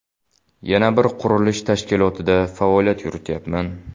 Yana bir qurilish tashkilotida faoliyat yurityapman.